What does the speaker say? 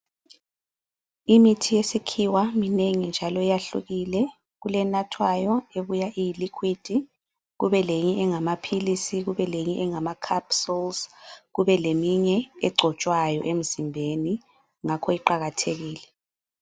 Imithi yesikhiwa minengi njalo yahlukile. Kulenathwayo ebuya iyi liquid, kube leyinye engamaphilisi, kubeleyinye engama capsules. Kubeleyinye egcotshwayo emzimbeni, ngakho iqakathekile.